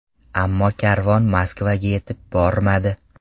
Ammo karvon Moskvaga yetib bormadi.